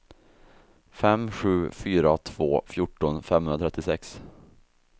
fem sju fyra två fjorton femhundratrettiosex